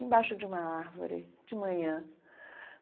embaixo de uma árvore, de manhã.